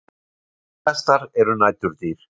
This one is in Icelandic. Flóðhestar eru næturdýr.